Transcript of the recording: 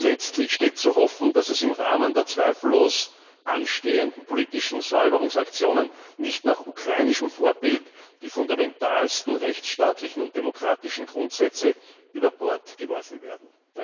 Letztlich steht zu hoffen, dass im Rahmen der zweifellos anstehenden politischen Säuberungsaktionen nicht nach ukrainischem Vorbild die fundamentalsten rechtsstaatlichen und demokratischen Grundsätze über Bord geworfen werden.